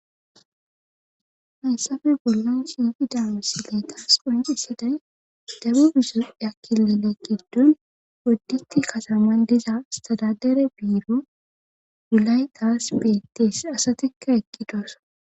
Hayssafe bollon shiifi daamu sileeta s qunci siday dabu biso akkilele giddon wodditi kataman diza stadadere biiro gulaytaas beettees asatikka eqqidoosa